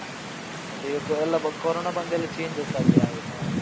ಅದೇ ಈಗ ಎಲ್ಲ ಕೊರೊನ ಬಂದು ಎಲ್ಲ changes ಆಗಿದೆ ಹಾಗೆ .